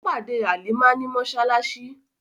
Ó pàdé Halimah ní mọ́ṣáláṣí.